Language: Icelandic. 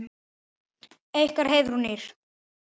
Ykkar Heiðrún Ýrr.